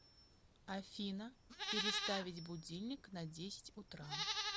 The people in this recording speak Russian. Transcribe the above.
афина переставить будильник на десять утра